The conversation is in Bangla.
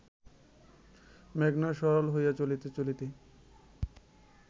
মেঘনা সরল হইয়া চলিতে চলিতে